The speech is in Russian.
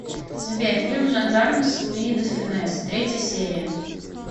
сбер фильм жандармы с луи де фюнес третья серия